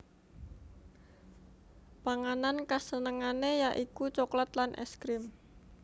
Panganan kasenengané ya iku coklat lan ès krim